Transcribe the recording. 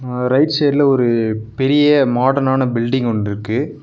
அ right சைடுல ஒரு பெரிய மாடர்ன் ஆன பில்டிங் ஒன்ருக்கு.